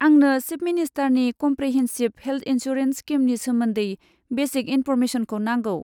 आंनो चिफ मिनिस्टारनि comprehensive health insurance स्किमनि सोमोन्दै बेसिक इनफ'र्मेसनखौ नांगौ।